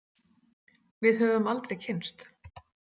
Við höfum aldrei kynnst.